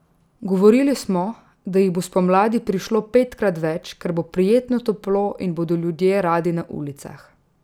Govorili smo, da jih bo spomladi prišlo petkrat več, ker bo prijetno toplo in bodo ljudje radi na ulicah.